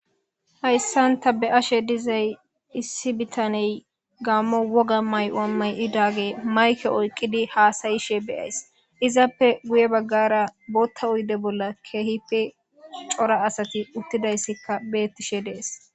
hayssan ta be ashe dizay issi bitaney gaammo woga may7o7ammay idaage mayke oyqqidi haasayishe beyays izappe guye baggara bootta uyde bolla keehippe cora asati uttidayssikka beettishe dees